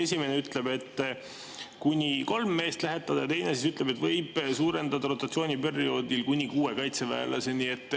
Esimene ütleb, et kuni kolme meest lähetada, ja teine ütleb, et võib suurendada rotatsiooniperioodil kuni kuue kaitseväelaseni.